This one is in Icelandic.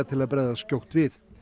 til að bregðast skjótt við